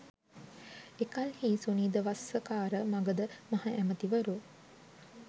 එකල්හී Sunidha Vassakara Magadha මහඇමතිවරු